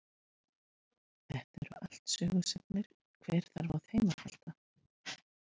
Þetta eru allt sögusagnir en hver þarf á þeim að halda.